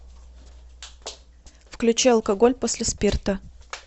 включи алкоголь после спирта